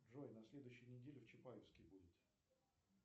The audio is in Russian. джой на следующей неделе в чапаевске будет